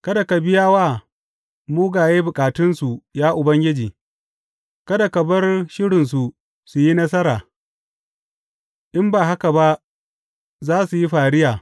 Kada ka biya wa mugaye bukatunsu, ya Ubangiji; kada ka bar shirinsu su yi nasara, in ba haka ba za su yi fariya.